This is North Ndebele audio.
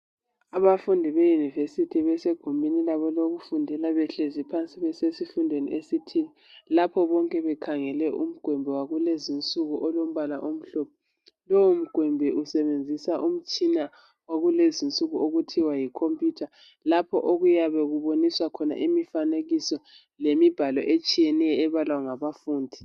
Abafundi be university besegumbini labo lokufundela. Behlezi phansi, besesifundweni esithile. Kapho bekhangele umgwembe wakulezi insuku omhlophe. Lowomgwembe usebenzisa umtshina wakulezi insuku, okuthiwa yicomputer. Lapho okuyabe kubukiswa khona imifanekiso, lemibhalo etshiyeneyo, ebalwa ngabafundi.